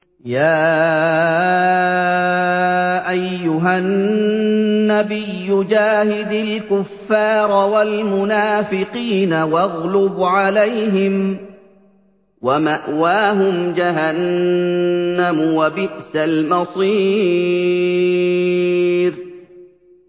يَا أَيُّهَا النَّبِيُّ جَاهِدِ الْكُفَّارَ وَالْمُنَافِقِينَ وَاغْلُظْ عَلَيْهِمْ ۚ وَمَأْوَاهُمْ جَهَنَّمُ ۖ وَبِئْسَ الْمَصِيرُ